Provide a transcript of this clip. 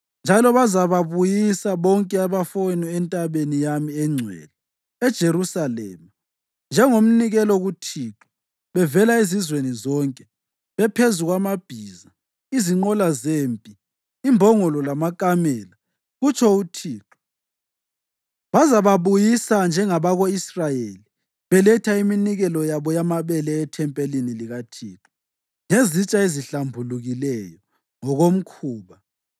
Njalo bazababuyisa bonke abafowenu entabeni yami engcwele eJerusalema njengomnikelo kuThixo bevela ezizweni zonke, bephezu kwamabhiza, izinqola zempi, imbongolo lamakamela,” kutsho uThixo. “Bazababuyisa njengabako-Israyeli beletha iminikelo yabo yamabele ethempelini likaThixo ngezitsha ezihlambulukileyo ngokomkhuba.